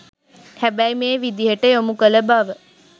හැබැයි මේ විදියට යොමු කළ බව